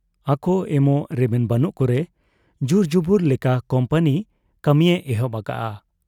ᱟᱠᱚ ᱮᱢᱚᱜ ᱨᱮᱵᱮᱱ ᱵᱟᱹᱱᱩᱜ ᱠᱚᱨᱮ ᱡᱩᱨᱡᱚᱵᱚᱨ ᱞᱮᱠᱟ ᱠᱩᱢᱯᱟᱹᱱᱤ ᱠᱟᱹᱢᱤᱭᱮ ᱮᱦᱚᱵ ᱟᱠᱟᱜ ᱟ ᱾